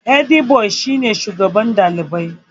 Hediboi shi ne shugaban ɗalibai.